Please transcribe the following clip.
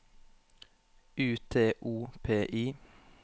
U T O P I